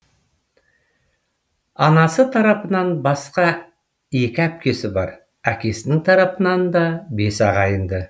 анасы тарапынан басқа екі әпкесі бар әкесінің тарапынан да бес ағайынды